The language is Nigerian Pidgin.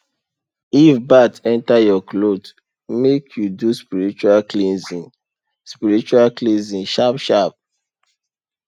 if bat enter your cloth make you do spiritual cleansing spiritual cleansing sharp sharp